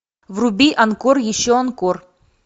вруби анкор еще анкор